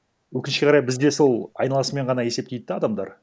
өкінішке қарай бізде сол айналасымен ғана есептейді де адамдар